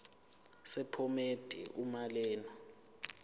sephomedi uma lena